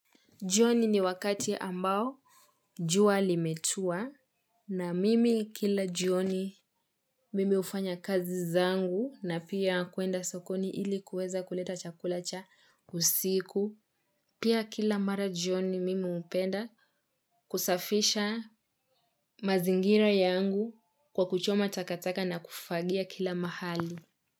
Jioni ni wakati ambao jua limetua na mimi kila jioni mimi hufanya kazi zangu na pia kuenda sokoni ili kuweza kuleta chakula cha usiku. Pia kila mara jioni mimi hupenda kusafisha mazingira yangu kwa kuchoma takataka na kufagia kila mahali.